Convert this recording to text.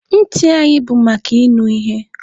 Ntị anyị bụ maka ịnụ ihe.